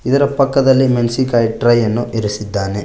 ಇದರ ಪಕ್ಕದಲ್ಲಿ ಮೆಣಸಿನಕಾಯಿ ಟ್ರೇಯನ್ನು ಇರಿಸಿದ್ದಾನೆ.